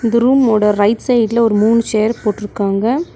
இந்த ரூம் ஓட right side ல ஒரு மூணு சேர் போட்ருக்காங்க.